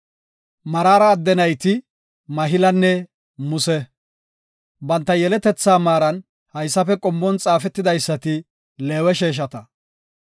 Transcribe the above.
Maraara adde nayti Mahilanne Muse. Banta yeletethaa maaran hayssafe qommon xaafetidaysati Leewe sheeshata.